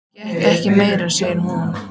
Ég get ekki meir, sagði hún.